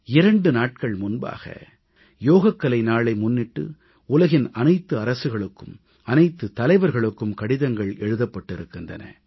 இரண்டு நாள்கள் முன்பாக யோகக்கலை நாளை முன்னிட்டு உலகின் அனைத்து அரசுகளுக்கும் அனைத்து தலைவர்களுக்கும் கடிதங்கள் எழுதப்பட்டிருக்கின்றன